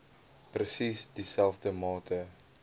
presies dieselfde mate